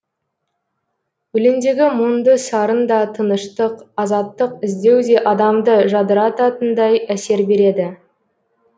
өлеңдегі мұңды сарын да тыныштық азаттық іздеу де адамды жадырататындай әсер береді